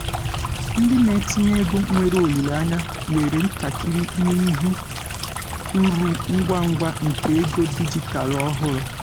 ndị na-etinye ego nwere olileanya were ntakịrị n'ịhụ uru ngwa ngwa nke ego dijitalụ ọhụrụ.